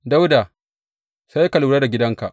Dawuda, sai ka lura da gidanka!